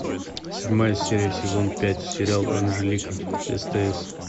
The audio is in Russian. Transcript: седьмая серия сезон пять сериал анжелика стс